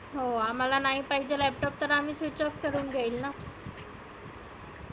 हो आम्हाला नाही पाहिजे आहे laptop तर आम्ही switchoff करुण घेईल ना.